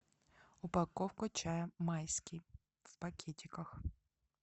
упаковка чая майский в пакетиках